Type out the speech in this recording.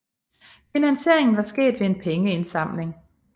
Finansieringen var sket ved en pengeindsamling